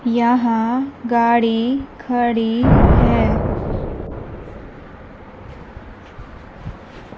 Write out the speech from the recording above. यहां गाड़ी खड़ी है।